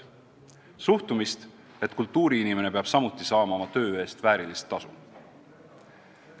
Rünnati suhtumist, et kultuuriinimene peab samuti saama oma töö eest väärilist tasu.